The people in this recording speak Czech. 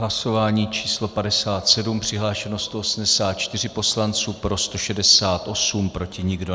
Hlasování číslo 57, přihlášeno 184 poslanců, pro 168, proti nikdo.